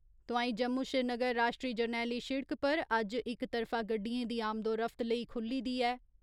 तोआईं जम्मू श्रीनगर राश्ट्री जरनैली शिड़क पर अज्ज इक तरफा गड्डियें दी आम्दोरफ्त लेई खुल्ली दी ऐ।